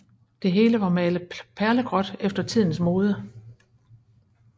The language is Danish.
Det hele var malet perlegråt efter tidens mode